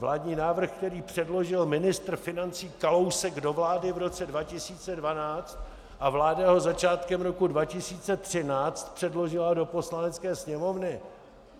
Vládní návrh, který předložil ministr financí Kalousek do vlády v roce 2012, a vláda ho začátkem roku 2013 předložila do Poslanecké sněmovny.